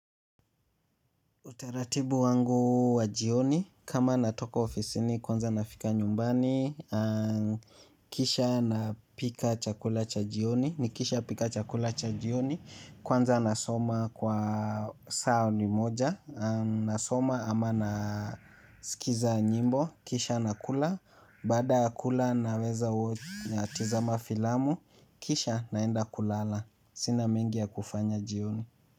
Utaratibu wangu wa jioni kama natoka ofisini kwanza nafika nyumbani kisha napika chakula cha jioni, nikisha pika chakula cha jioni, kwanza nasoma kwa saa limoja, nasoma ama nasikiza nyimbo, kisha nakula, baada ya kula naweza tizama filamu, kisha naenda kulala, sina mengi ya kufanya jioni.